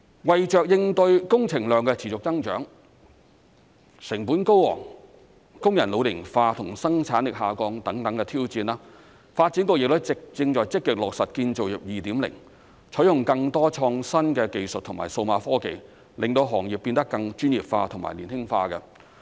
為應對工程量持續增長、成本高昂、工人老齡化及生產力下降等挑戰，發展局正在積極落實"建造業 2.0"， 採用更多創新技術和數碼科技令行業變得更專業化和年輕化。